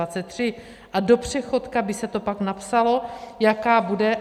A do přechodka by se to pak napsalo, jaká bude.